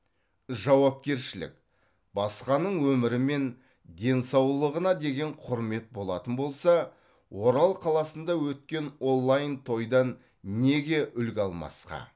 жауапкершілік басқаның өмірі мен денсаулығына деген құрмет болатын болса орал қаласында өткен онлайн тойдан неге үлгі алмасқа